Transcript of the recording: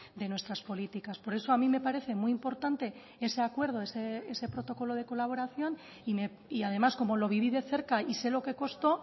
de nuestras políticas por eso a mí me parece muy importante ese acuerdo ese protocolo de colaboración y además como lo viví de cerca y sé lo que costó